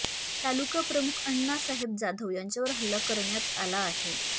तालुका प्रमुख आण्णासाहेब जाधव यांच्यावर हल्ला करण्यात आला आहे